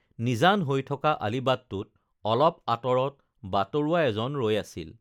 নিজান হৈ থকা আলিবাটটোত অলপ আতঁৰত বাটৰুৱা এজন ৰৈ আছিল